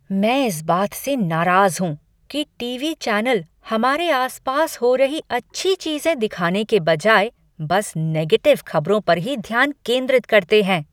मैं इस बात से नाराज़ हूँ कि टीवी चैनल हमारे आसपास हो रही अच्छी चीज़ें दिखाने के बजाय बस नेगेटिव खबरों पर ही ध्यान केंद्रित करते हैं।